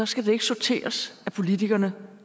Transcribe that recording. skal det ikke sorteres af politikerne